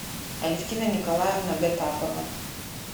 алевтина николаевна гатапова